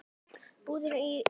Búsett í London.